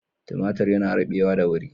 Timatir yana rubewa da wuri.